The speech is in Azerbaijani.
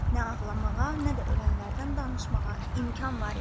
Nə ağlamağa, nə də ölənlərdən danışmağa imkan var idi.